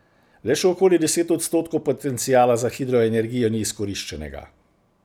Le še okoli deset odstotkov potenciala za hidroenergijo ni izkoriščenega.